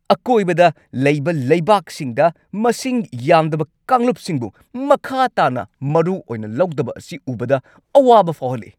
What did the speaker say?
ꯑꯀꯣꯏꯕꯗ ꯂꯩꯕ ꯂꯩꯕꯥꯛꯁꯤꯡꯗ ꯃꯁꯤꯡ ꯌꯥꯝꯗꯕ ꯀꯥꯡꯂꯨꯞꯁꯤꯡꯕꯨ ꯃꯈꯥ ꯇꯥꯅ ꯃꯔꯨ ꯑꯣꯏꯅ ꯂꯧꯗꯕ ꯑꯁꯤ ꯎꯕꯗ ꯑꯋꯥꯕ ꯐꯥꯎꯍꯜꯂꯤ ꯫